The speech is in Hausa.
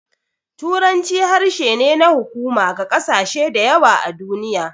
Turanci harshe ne na hukuma ga ƙasashe da yawa a duniya.